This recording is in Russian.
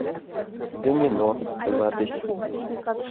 домино запись